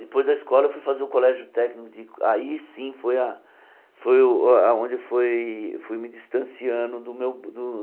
Depois da escola eu fui fazer o colégio técnico de, aí sim foi a foi o aonde foi fui me distanciando do meu do